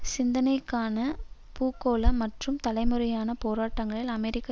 சிந்தனைக்கான பூகோள மற்றும் தலைமுறையான போராட்டங்களில் அமெரிக்கா